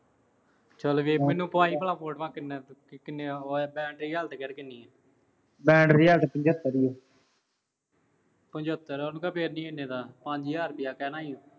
ਚਲ ਫਿਰ ਮੈਨੂੰ ਪਾਈਂ ਭਲਾਂ ਮੈਂ ਪੁੱਛਦਾ, battery ਕਿੰਨੀ ਆ। battery ਪਚੱਤਰ। ਪਚੱਤਰ ਆ। ਉਹਨੂੰ ਕਹਿ ਫੇਰ ਨੀਂ ਇੰਨੇ ਦਾ। ਪੰਜ ਹਜ਼ਾਰ ਰੁਪਇਆ ਕਹਿਣਾ ਸੀ ਉਹਨੂੰ।